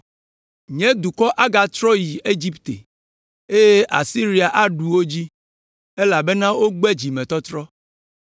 “Nye dukɔ agatrɔ ayi Egipte, eye Asiria aɖu wo dzi, elabena wogbe dzimetɔtrɔ.